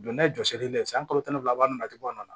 Don n'a ye jɔsi ne ye san kalo tan ni fila natɔgɔ min na